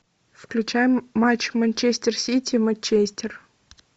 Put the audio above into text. включай матч манчестер сити манчестер